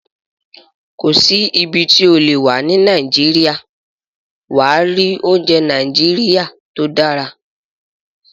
Kò sí ibi tí o lè wà ní Nàìjíríà, wà á rí oúnjẹ Nàìjíríà tó dára